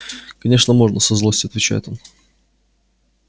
конечно можно со злостью отвечает он